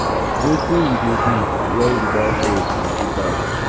um wetin you dey do when you don fail plenty times? um